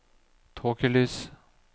tåkelys